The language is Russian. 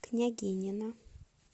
княгинино